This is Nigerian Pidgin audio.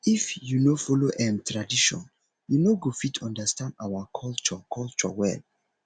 if you no follow um tradition you no go fit understand our culture culture well